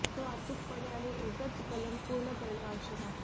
तो अचूकपणे आणि एकच कलंक पूर्ण करणे आवश्यक आहे